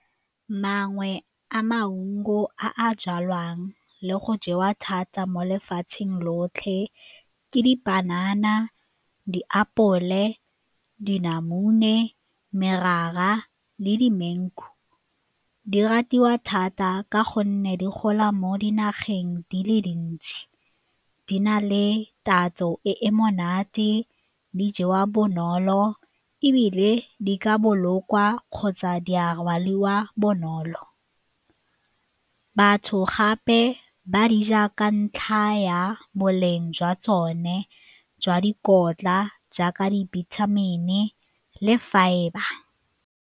Mangwe a maungo a a jalwang le go jewa thata mo lefatsheng lotlhe ke dipanana, diapole, dinamune, merara le dimengu. Di ratiwa thata ka gonne di gola mo dinageng dile dintsi, di na le tatso e e monate, di jewa bonolo ebile di ka bolokwa kgotsa di a rwaliwa bonolo. Batho gape ba di ja ka ntlha ya boleng jwa tsone jwa dikotla jaaka dibithamine le fibre.